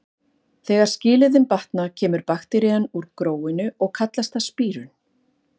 Þegar skilyrðin batna kemur bakterían úr gróinu og kallast það spírun.